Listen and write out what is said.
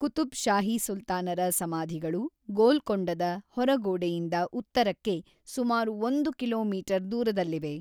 ಕುತುಬ್ ಶಾಹಿ ಸುಲ್ತಾನರ ಸಮಾಧಿಗಳು ಗೋಲ್ಕೊಂಡದ ಹೊರಗೋಡೆಯಿಂದ ಉತ್ತರಕ್ಕೆ ಸುಮಾರು ಒಂದು ಕಿಲೋಮೀಟರ್ ದೂರದಲ್ಲಿವೆ.